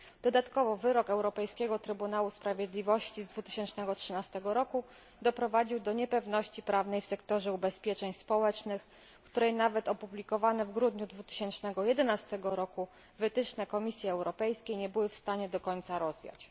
Dodatkowo wyrok Europejskiego Trybunału Sprawiedliwości z 2013 roku doprowadził do niepewności prawnej w sektorze ubezpieczeń społecznych, której nawet opublikowane w grudniu 2011 roku wytyczne Komisji Europejskiej nie były w stanie do końca rozwiać.